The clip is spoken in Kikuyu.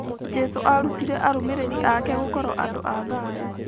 Jesũ aarutire arũmĩrĩri ake gũkorũo andũ a thayũ.